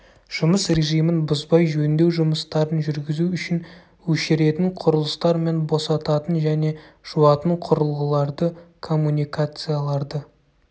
жұмыс режимін бұзбай жөндеу жұмыстарын жүргізу үшін өшіретін құрылыстар мен босататын және жуатын құрылғыларды коммуникацияларды